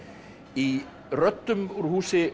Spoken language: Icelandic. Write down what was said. í röddum úr húsi